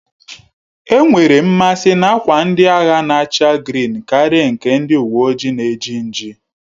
E nwerem mmasi n'akwa ndị agha na-acha grịn Karia nke ndị uwe ojii na eji nji